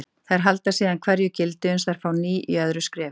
Þær halda síðan hverju gildi uns þær fá ný í öðru skrefi.